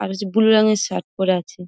আর বেশ ব্লু রঙের শার্ট পরে আছে ।